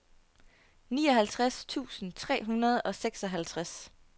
nioghalvtreds tusind tre hundrede og seksoghalvtreds